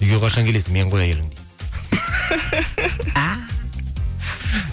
үйге қашан келесің мен ғой әйелің